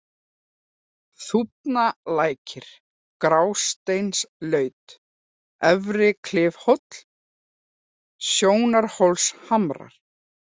Þúfnalækir, Grásteinslaut, Efri-Klifhóll, Sjónarhólshamrar